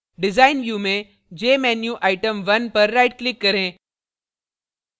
design view में jmenuitem1 पर right click करें